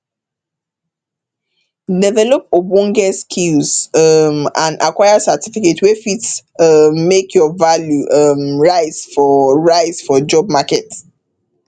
develop ogbonge skills um and acquire certificate wey fit um make your value um rise for rise for job market